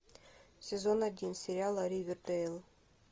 сезон один сериала ривердейл